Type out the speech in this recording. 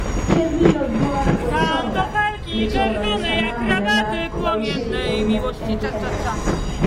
Kevin Oduor Wesonga:Nechongani sanamu nenaat kopoishei eunek eng Kenya.